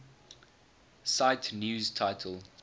cite news title